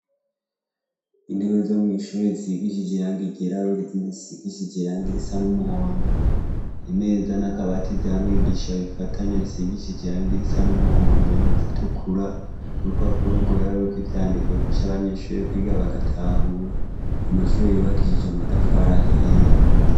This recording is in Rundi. Intebe zo mw' ishure zisigishije irangi ryirabura izindi zisigishije irangi risa n' umuhondo, imeza n' akabati vya mwigisha bifatanye, bisigishije irangi risa n' umuhondo irindi ritukura, urupapuro rwera ruriko ivyandiko bifasha abanyeshure kwiga bagatahura. Amashure yubakishije amatafari ahiye.